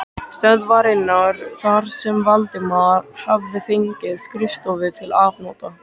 stöðvarinnar þar sem Valdimar hafði fengið skrifstofu til afnota.